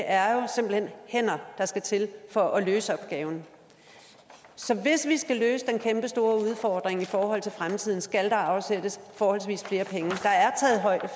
er jo simpelt hen hænder der skal til for at løse opgaven så hvis vi skal løse den kæmpestore udfordring i forhold til fremtiden skal der afsættes forholdsvis flere penge